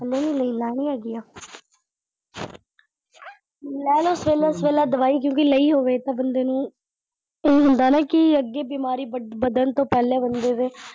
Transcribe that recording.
ਹਲੇ ਨੀ ਲਈ ਲੈਣੀ ਹੈਗੀ ਆ ਲੈ ਲੋ ਸਵੇਲੇ ਸਵੇਲੇ ਦਵਾਈ, ਕਿਉਂਕਿ ਲਈ ਹੋਵੇ ਤਾਂ ਬੰਦੇ ਨੂੰ ਹੁੰਦਾ ਨਾ ਕਿ ਅੱਗੇ ਬਿਮਾਰੀ ਵੱਧਣ ਤੋਂ ਪਹਿਲਾਂ ਬੰਦੇ ਦੇ।